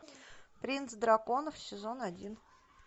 принц драконов сезон один